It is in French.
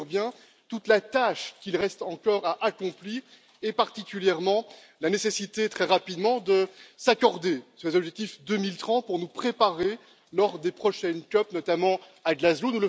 je mesure bien toute la tâche qui reste encore à accomplir et particulièrement la nécessité, très rapidement, de s'accorder sur les objectifs 2030 pour nous préparer lors des prochaines COP, notamment à Glasgow.